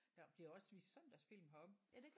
Der bliver også vist søndagsfilm heroppe